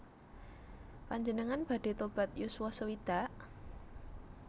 Panjenengan badhe tobat yuswa sewidak?